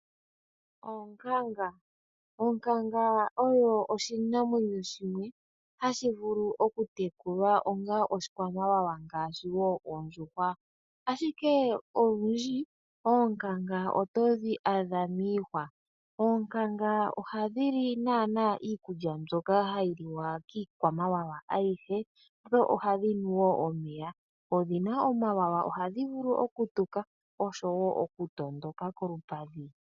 Onkanga Onkanga oyo oshinamwanyo shimwe hashi vulu oku tekulwa onga oshikwamawawa ngaashi wo oondjuhwa, ashike olundji oonkanga oto dhi adha miihwa. Oonkanga ohadhi naana iikulya mbyoka hayi liwa kiikwamawawa ayihe, dho ohadhi nu wo omeya. Odhi na omawawa, ohadhi vulu tuka oshowo oku tondoka kolupadhi.